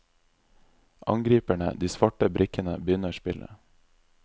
Angriperne, de svarte brikkene, begynner spillet.